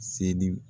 Seli